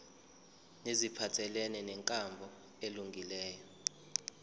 neziphathelene nenkambo elungileyo